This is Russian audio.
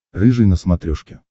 рыжий на смотрешке